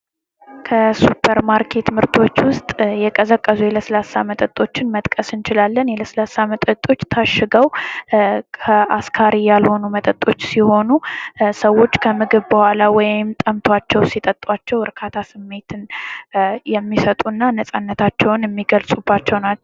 ፓስታ: ከዱቄትና ከውሃ የሚሠራ ደረቅ ምግብ ሲሆን በተለያዩ ቅርጾች ይገኛል። በብዙ አገሮች ተወዳጅነት ያለው የካርቦሃይድሬት ምንጭ ነው።